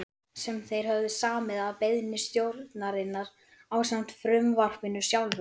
sem þeir höfðu samið að beiðni stjórnarinnar ásamt frumvarpinu sjálfu.